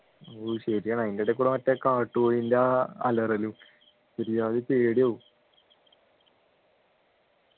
ഓ ശരിയാണ് അതിൻ്റെ ഇടയിൽകൂടെ മറ്റേ കാട്ടുകോഴിൻ്റെ ആ അലറലും ഒരുജാതി പേടിയാകും